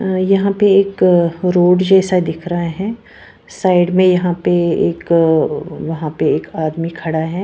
यहाँ पे एक रोड जैसा दिख रहा है साइड मे यहाँ पे एक यहाँ पे एक आदमी खड़ा है।